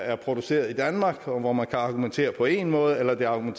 er produceret i danmark og hvor man kan argumentere på én måde eller om